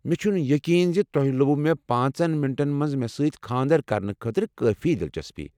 مےٚ چھُنہٕ یقین زِ تۄہہِ لوٚب مےٚ پانژن منٹَن منٛز مےٚ سۭتۍ خانٛدر کرنہٕ خٲطرٕ کٲفی دلچسپی۔